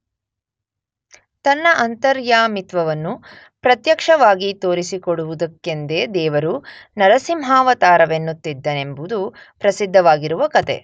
ತನ್ನ ಅಂತರ್ಯಾಮಿತ್ವವನ್ನು ಪ್ರತ್ಯಕ್ಷವಾಗಿ ತೋರಿಸಿಕೊಡುವುದಕ್ಕೆಂದೇ ದೇವರು ನರಸಿಂಹಾವತಾರವನ್ನೆತ್ತಿದನೆಂಬುದು ಪ್ರಸಿದ್ಧವಾಗಿರುವ ಕಥೆ.